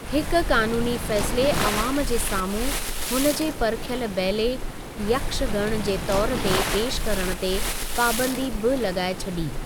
हिकु कानूनी फ़ैसिले अवाम जे साम्हूं हुनजे परखियल बैले ''यक्षगण'' जे तौर ते पेशि करण ते पाबंदी बि लगाए छॾी।